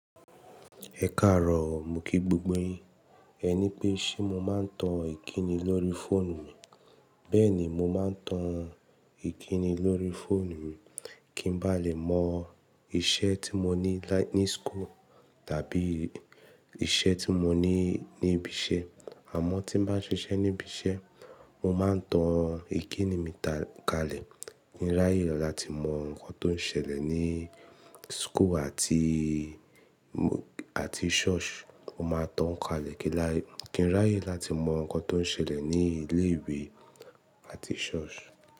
Ẹ káàárọ̀, mo kí gbogbo yín. Ẹ ní pé ṣé mo máa ń tan Ìkíni lórí fóònù mi. Bẹ́ẹ̀ni, mo máa ń tan Ìkíni lórí fóònù mi kí n bá lè mọ iṣẹ́ tí mo ní ní school tàbí iṣẹ́ tí mo ní ní ibi iṣẹ́. Àmọ́ tí bá ń ṣiṣẹ́ ní ibi iṣẹ́, mo máa ń tan Ìkíni mi kalẹ̀ kí n ráyè láti mọ nǹkan tó ń ṣẹlẹ̀ ní school àti, àti ṣọ́ọ̀ṣì. Mo máa tan káalẹ̀ kí n ráyè láti mọ nǹkan tó ń ṣẹlẹ̀ ní ilé ìwé àti ṣọ́ọ̀ṣì.